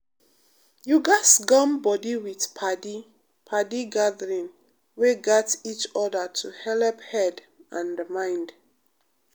you gatz gum body with padi padi gathering um wey gat each other to helep head and mind.